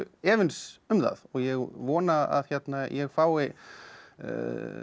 efins um það ég vona að ég fái